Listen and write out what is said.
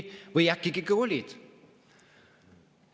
Või äkki ikka olid?